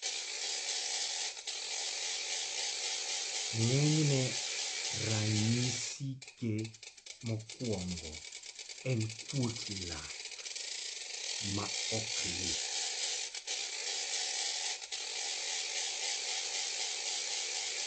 ng'enyne ranyisi ge mokuongo en kuotpien lak ma ok lit